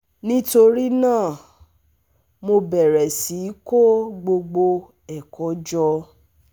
Nítorí náà, mo bẹ̀rẹ̀ sí í kó gbogbo ẹ̀kọ́ jọ